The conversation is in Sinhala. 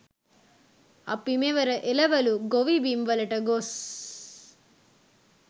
අපි මෙවර එළවළු ගොවිබිම් වලට ගොස්